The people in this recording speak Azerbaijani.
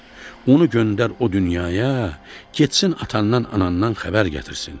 Onu göndər o dünyaya, getsin atandan, anandan xəbər gətirsin.